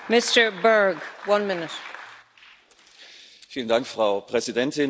Frau Präsidentin, sehr geehrte Kolleginnen und Kollegen, werte Frau Ministerin!